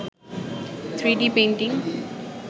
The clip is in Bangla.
3d painting